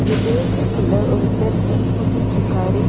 இந்த பேக்கரிக்குள்ள ஒருத்தர் டீ போட்டுட்ருக்காரு.